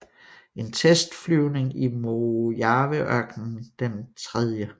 En testflyvning i Mojaveørkenen den 3